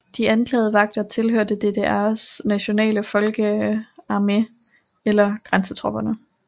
De anklagede vagter tilhørte DDRs nationale folkearmé eller grænsetropperne